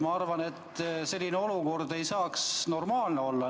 Ma arvan, et selline olukord ei saaks normaalne olla.